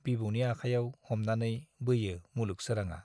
बिबौनि आखायाव हमनानै बोयो मुलुग सोराङा।